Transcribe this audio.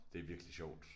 Det virkelig sjovt